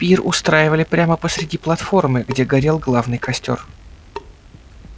пир устраивали прямо посреди платформы где горел главный костёр